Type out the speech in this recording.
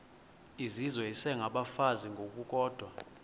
izizwe isengabafazi ngokukodwa